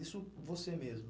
Isso você mesma.